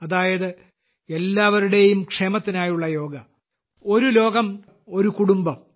അതായത് എല്ലാവരുടെയും ക്ഷേമത്തിനായുള്ള യോഗ ഒരു ലോകം ഒരു കുടുംബം